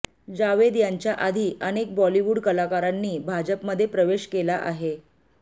जावेद यांच्याआधी अनेक बॉलिवूड कलाकारांनी भाजपमध्ये प्रवेश केला आहे